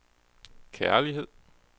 kærlighed